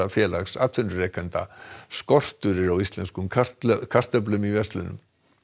félags atvinnurekenda skortur er á íslenskum kartöflum kartöflum í verslunum